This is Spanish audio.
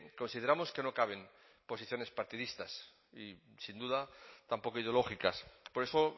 consideramos que no caben posiciones partidistas y sin duda tampoco ideológicas por eso